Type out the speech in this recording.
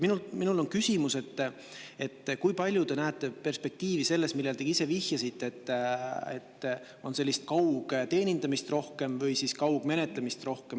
Minul on küsimus, et kui palju te näete perspektiivi selles, millele te ise vihjasite, et on rohkem sellist kaugteenindamist või kaugmenetlemist.